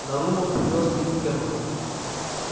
нарумов привёз к нему германна